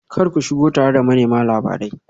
Kar ku shigo tare da manema labarai